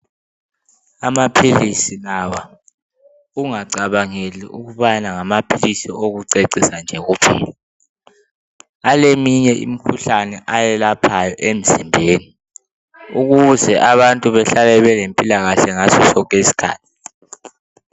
Amaphilisi lawa ungacabangeli ukubana ngawokucecisa nje kuphela. Aleminye imikhuhlane eyelaphayo emzimbeni ukuze abantu bahlale belempilakahle ngaso sonke isikhathi.